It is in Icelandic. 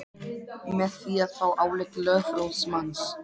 með því að fá álit lögfróðs manns.